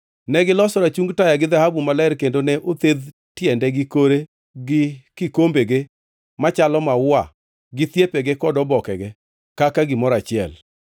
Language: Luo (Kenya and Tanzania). Negiloso rachung taya gi dhahabu maler kendo ne othedh tiende gi kore gi kikombege machalo maua gi thiepege kod obokege kaka gimoro achiel.